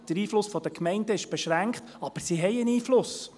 Der Einfluss der Gemeinden ist beschränkt, aber sie haben einen Einfluss.